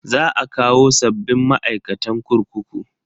Za a kawo sabbin ma'aikatan kurkuku.